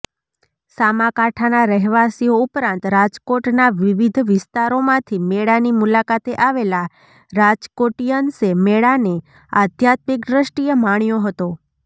સામાકાંઠાના રહેવાસીઓ ઉપરાંત રાજકોટનાં વિવિધ વિસ્તારોમાંથી મેળાની મુલાકાતે આવેલા રાજકોટીયન્સે મેળાને આધ્યાત્મિક દ્રષ્ટીએ માણ્યો હતો